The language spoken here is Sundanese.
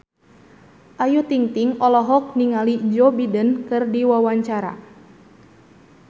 Ayu Ting-ting olohok ningali Joe Biden keur diwawancara